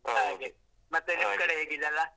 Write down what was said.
.